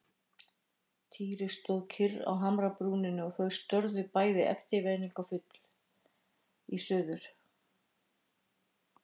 Týri stóð kyrr á hamrabrúninni og þau störðu bæði eftirvæntingarfull í suður.